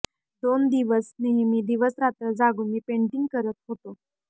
दोन दिवस नेहमी दिवस रात्र जागून मी पेंटिंग करत होतो